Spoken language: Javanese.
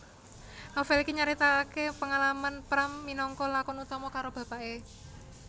Novèl iki nyaritakaké pangalamané Pram minangka lakon utama karo bapaké